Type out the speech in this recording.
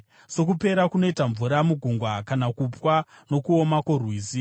Sokupera kunoita mvura mugungwa, kana kupwa nokuoma kworwizi,